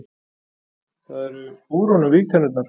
Það eru úr honum vígtennurnar.